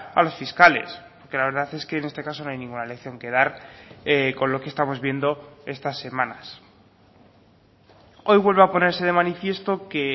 a los fiscales que la verdad es que en este caso no hay ninguna lección que dar con lo que estamos viendo estas semanas hoy vuelve a ponerse de manifiesto que